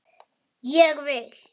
Ég vil!